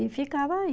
E ficava aí.